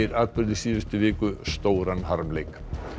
atburðum síðustu viku sem stórum harmleik